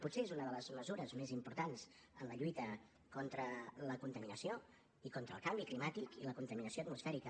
potser és una de les mesures més importants en la lluita contra la contaminació i contra el canvi climàtic i la contaminació atmosfèrica